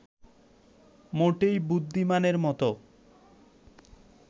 মোটেই বুদ্ধিমানের মতো